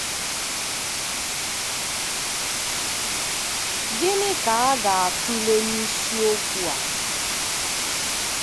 Gịnị ka a ga-atụle n’isiokwu a?